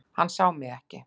Hann sá mig ekki.